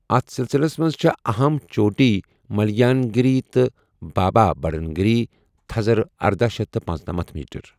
اتھ سِلسِلس منز چھے٘ اہم چوٹی مٗلیان گِری تہٕ بابا بٗڈن گِری، تھزر اردہَ شیتھ تہٕ پنژٔنمنتھ میٹر ۔